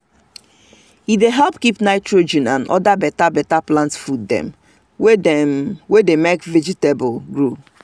farmers like as e dey easy to use e dey make farm work simple and e dey give better result.